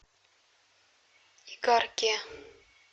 игарке